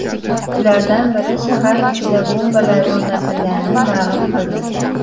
Ulardan biri shahar ichida bombalar o‘rnatilganini ma’lum qildi .